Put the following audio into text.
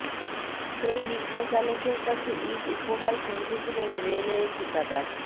সেই রিকশাচালকের কাছে ঈদ উপহার পৌঁছে দিলেন রেলওয়ে ঠিকাদার